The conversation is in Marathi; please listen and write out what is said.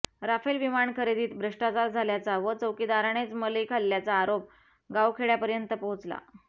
राफेल विमान खरेदीत भ्रष्टाचार झाल्याचा व चौकीदारानेच मलई खाल्ल्याचा आरोप गावखेड्यापर्यंत पोहोचला